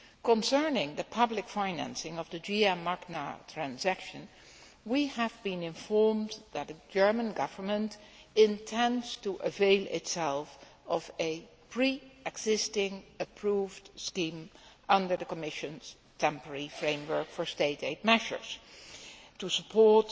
Concerning the public financing of the GM Magna transaction, we have been informed that the German Government intends to avail itself of a pre existing approved scheme under the Commission's temporary framework for State aid measures to support